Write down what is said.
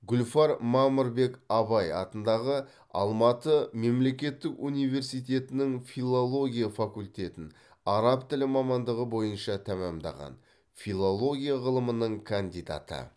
гүлфар мамырбек абай атындағы алматы мемлекеттік университетінің филология факультетін араб тілі мамандығы бойынша тәмамдаған филология ғылымының кандидаты